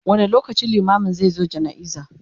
wani lokaci limamin zai zo jana'iza?